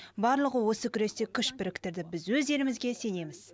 барлығы осы күресте күш біріктірді біз өз елімізге сенеміз